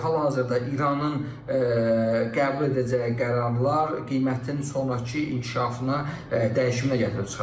Hal-hazırda İranın qəbul edəcəyi qərarlar qiymətin sonrakı inkişafına dəyişimini gətirib çıxaracaq.